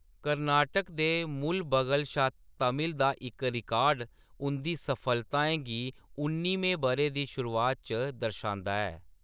कर्नाटक दे मुलबगल शा तमिल दा इक रिकार्ड उं’दी सफलताएं गी उन्निमें ब’रे दी शुरूआत च दर्शांदा ऐ।